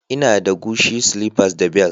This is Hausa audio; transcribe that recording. Ina da Gucci slippers da bel